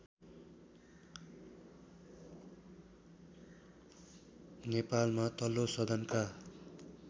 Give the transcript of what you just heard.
नेपालमा तल्लो सदनका